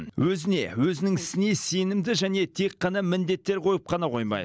өзіне өзінің ісіне сенімді және тек қана міндеттер қойып қана қоймай